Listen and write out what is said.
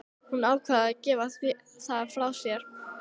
Hún ákvað að gefa það frá sér.